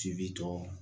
Ci bi tɔ